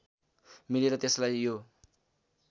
मिलेर त्यसलाई यो